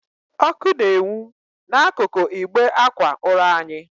Ọkụ na-enwu n'ákụ̀kụ̀ ịgbe ákwà ụra anyị.